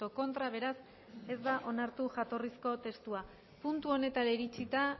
contra beraz ez da onartu jatorrizko testua puntu honetara iritsita